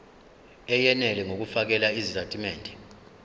eyenele ngokufakela izitatimende